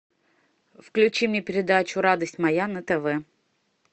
включи мне передачу радость моя на тв